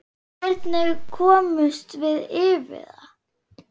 Hvernig komumst við yfir það?